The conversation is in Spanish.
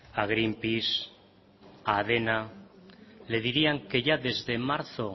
a greenpeace a adena le dirían que ya desde marzo